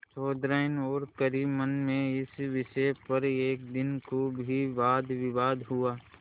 चौधराइन और करीमन में इस विषय पर एक दिन खूब ही वादविवाद हुआ